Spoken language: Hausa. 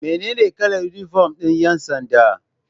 Mene ne kalar inifom ɗin ƴansanda?